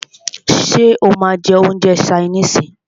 Ṣé o máà ń jẹ́ oúnjẹ ṣaínìisì?